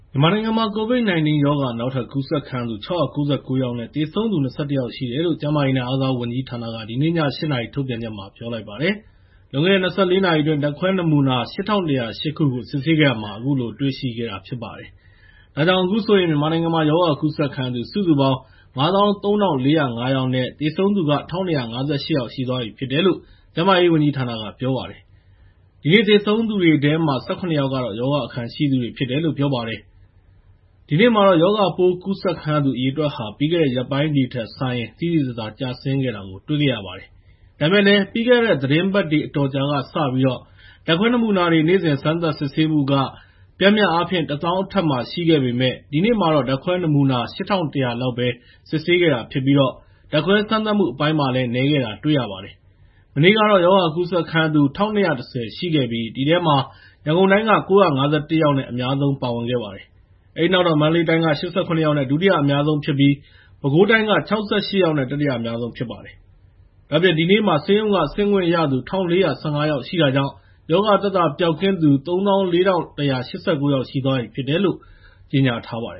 မြန်မာနိုင်ငံမှာ COVID-19 ရောဂါ နောက်ထပ်ကူးစက်ခံရသူ ၆၉၉ ယောက်နဲ့ သေဆုံးသူ ၂၁ ယောက်ရှိတယ်လို့ ကျန်းမာရေးနဲ့ အားကစားဝန်ကြီးဌာနက ဒီနေ့ည ၈ နာရီ ထုတ်ပြန်ချက်မှာ ပြောလိုက်ပါတယ်။ လွန်ခဲ့တဲ့ ၂၄ နာရီအတွင်း ဓာတ်ခွဲနမူနာ ၈,၁၀၈ ခုကို စစ်ဆေးခဲ့တာမှာ အခုလို တွေ့ရှိခဲ့တာ ဖြစ်ပါတယ်။ ဒါကြောင့် အခုဆိုရင် မြန်မာနိုင်ငံမှာ ရောဂါကူးစက်ခံရသူ စုစုပေါင်း ၅၃,၄၀၅ ယောက်နဲ့ သေဆုံးသူက ၁,၂၅၈ ယောက်ရှိသွားပြီဖြစ်တယ်လို့ ကျန်းမာရေးဝန်ကြီးဌာနက ပြောပါတယ်။ ဒီနေ့ သေဆုံးတဲ့အထဲမှာ ၁၇ ယောက်ကတော့ ရောဂါအခံရှိသူတွေ ဖြစ်တယ်လို့လည်း ပြောပါတယ်။ ဒီနေ့မှာတော့ ရောဂါပိုးကူးစက်ခံရသူ အရေအတွက်ဟာ ပြီးခဲ့တဲ့ ရက်ပိုင်းတွေထက်စာရင် သိသိသာသာ ကျဆင်းခဲ့တာကို တွေ့ရပါတယ်။ ဒါပေမယ့်လည်း ပြီးခဲ့တဲ့ သီတင်းပတ်တွေ အတော်ကြာကစပြီး နေ့စဉ် ဓာတ်ခွဲနမူနာတွေ နေ့စဉ်စမ်းသပ်စစ်ဆေးမှုက ပျမ်းမျှအားဖြင့် ၁၀,၀၀၀ အထက်မှာ ရှိခဲ့ပေမယ့် ဒီနေ့မှာတော့ ဓာတ်ခွဲနမူနာ ၈,၁၀၀ လောက်ပဲ စစ်ဆေးခဲ့တာဖြစ်ပြီး ဓာတ်ခွဲစမ်းသပ်မှုအပိုင်းမှာလည်း နည်းခဲ့တာတွေ တွေ့ရပါတယ်။ မနေ့ကတော့ ရောဂါကူးစက်ခံရသူ ၁,၂၁၀ ရှိခဲ့ပြီး အဲဒီထဲမှာ ရန်ကုန်တိုင်းက ၉၅၁ ယောက်နဲ့ အများဆုံး ပါဝင်ခဲ့ပါတယ်။ အဲဒီနောက် မန္တလေးတိုင်းက ၈၇ ယောက်နဲ့ ဒုတိယအများဆုံးဖြစ်ပြီး ပဲခူးတိုင်း ၆၈ ယောက်နဲ့ တတိယအများဆုံး ဖြစ်ပါတယ်။ ဒါ့အပြင် ဒီနေ့မှာ ဆေးရုံကဆင်းခွင့်ရသူ ၁,၄၁၅ ယောက်ရှိတာကြောင့် ရောဂါသက်သာပျောက်ကင်းသူ ၃၄,၁၈၉ ယောက် ရှိသွားပြီဖြစ်တယ်လို့ ပြောပါတယ